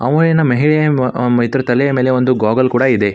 ಆವಾ ಏನು ಮೆಹೆಂದಿ ಇದರ ತಲೆಯ ಮೇಲೆ ಒಂದು ಗೋಗಲ್ ಕೂಡ ಇದೆ.